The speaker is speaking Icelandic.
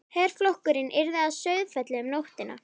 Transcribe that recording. Herflokkurinn yrði að Sauðafelli um nóttina.